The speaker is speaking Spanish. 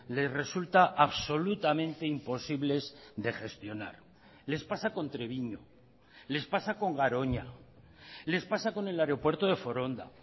les resulta absolutamente imposibles de gestionar les pasa con treviño les pasa con garoña les pasa con el aeropuerto de foronda